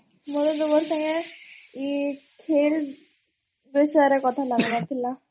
ମୋର ତୁମର୍ ସାଙ୍ଗେ ଏ ଖେଲ୍ ବିଷୟରେ କଥା ଲାଗବାର୍ ଥିଲା